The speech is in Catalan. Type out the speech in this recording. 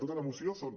tota la moció són